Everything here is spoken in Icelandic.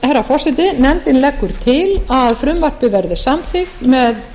herra forseti nefndin leggur til að frumvarpið verði samþykkt með